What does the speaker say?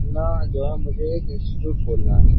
अपना जो मुझे एक इंस्टीट्यूट खोलना है।